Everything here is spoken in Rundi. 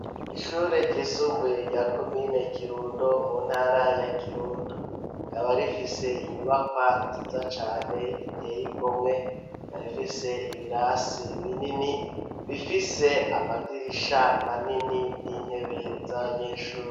Ishure ry'isumbuye rya komine Kirundo mu ntara ya Kirundo rikaba rifise inyubakwa nziza cane iteye igomwe ikaba ifise ibirasi binini bifise amadirisha manini n'intebe z'abanyeshuri.